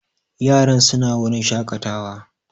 Yaran su na wurin shaƙatawa